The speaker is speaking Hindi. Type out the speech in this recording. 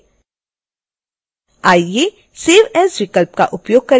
आइए save as विकल्प का उपयोग करके इस फाइल को सेव करते हैं